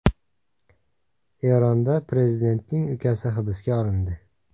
Eronda prezidentning ukasi hibsga olindi.